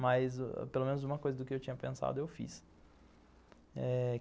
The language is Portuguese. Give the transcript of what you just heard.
Mas pelo menos uma coisa do que eu tinha pensado, eu fiz. Eh...